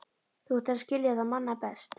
Þú ættir að skilja það manna best.